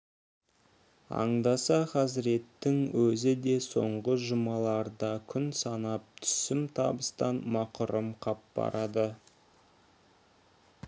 аңдаса хазіреттің өзі де соңғы жұмаларда күн санап түсім табыстан мақұрым қап барады